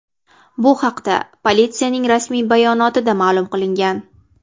Bu haqda politsiyaning rasmiy bayonotida ma’lum qilingan.